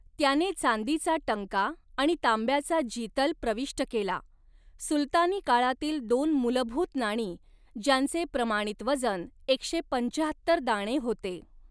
त्याने चांदीचा टंका आणि तांब्याचा जितल प्रविष्ट केला, सुलतानी काळातील दोन मूलभूत नाणी, ज्यांचे प्रमाणित वजन एकशे पंचाहत्तर दाणे होते.